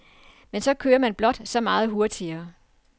Men så kører man blot så meget hurtigere.